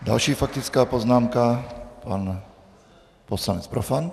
Další faktická poznámka, pan poslanec Profant.